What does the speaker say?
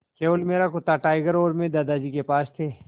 केवल मेरा कुत्ता टाइगर और मैं दादाजी के पास थे